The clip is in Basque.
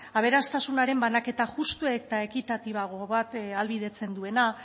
aberastasunaren banaketa justua eta ekitatiboago bat ahalbidetzen duena